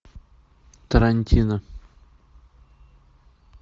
тарантино